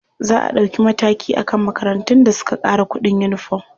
Za a ɗauki mataki a kan makarantun da suka ƙara kuɗin uniform.